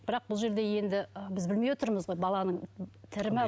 бірақ бұл жерде енді ы біз білмей отырмыз ғой баланың тірі ме